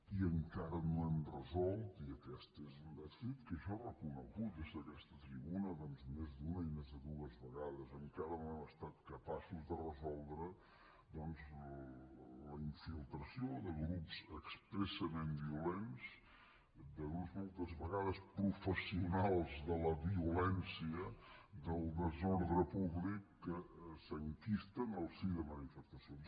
i encara no hem resolt i aquest és un dèficit que jo he reconegut des d’aquesta tribuna més d’una i més de dues vegades encara no hem estat capaços de resoldre la infiltració de grups expressament violents de grups moltes vegades professionals de la violència del desordre públic que s’enquisten al si de manifestacions